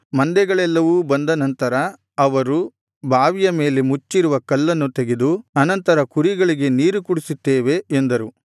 ಮಂದೆಗಳೆಲ್ಲವು ಬಂದ ನಂತರ ಅವರು ಬಾವಿಯ ಮೇಲೆ ಮುಚ್ಚಿರುವ ಕಲ್ಲನ್ನು ತೆಗೆದು ಅನಂತರ ಕುರಿಗಳಿಗೆ ನೀರು ಕುಡಿಸುತ್ತೇವೆ ಎಂದರು